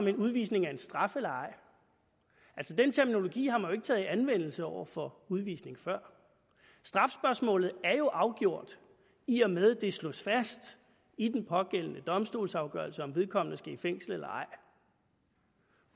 en udvisning er en straf eller ej den terminologi har man taget i anvendelse over for udvisning før strafspørgsmålet er jo afgjort i og med det slås fast i den pågældende domstolsafgørelse om vedkommende skal i fængsel eller ej